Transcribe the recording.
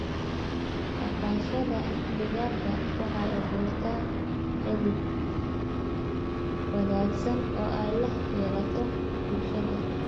Dhaqashada digaaga waxay abuurtaa xidhiidh wanaagsan oo ay la yeelato bulshada.